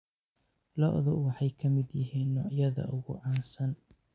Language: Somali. Lo'du waxay ka mid yihiin noocyada ugu caansan.